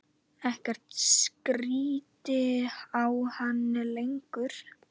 Ekkert stríddi á hann lengur.